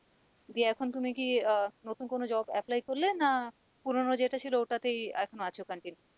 দিয়ে এখন তুমি কি আহ নতুন কোন job apply করলে? না পুরোনো যেটা ছিল ওটাতেই এখন আছো continue